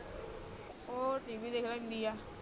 ਓ TV ਦੇਖ ਲੈਂਦੀ ਆ